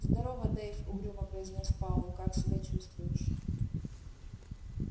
здорова дейв угрюмо произнёс пауэлл как себя чувствуешь